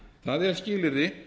það er skilyrði